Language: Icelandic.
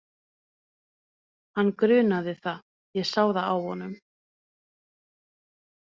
Hann grunaði það, ég sá það á honum.